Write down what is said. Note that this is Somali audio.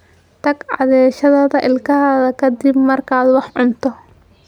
Tag cadayashada ilkahaaga ka dib markaad wax cunto.